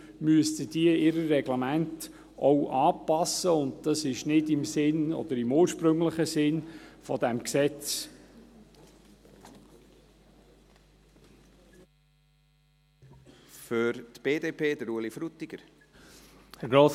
Deshalb müssten diese ihre Reglemente auch anpassen, und dies ist nicht im Sinn, oder im ursprünglichen Sinn, dieses Gesetzes.